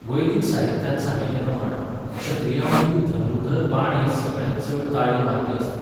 वैदिक साहित्यांत सांगिल्लेप्रमाण क्षत्रियांमदीं धनुर्धर बाण हें सगळ्यांत चड ताळयो मारपी अस्त्र.